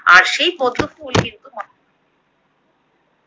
আর সেই পদ্মফুল কিন্তু